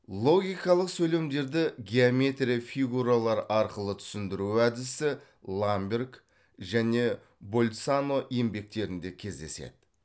логикалық сөйлемдерді геометрия фигуралар арқылы түсіндіру әдісі ламберг және больцано еңбектерінде кездеседі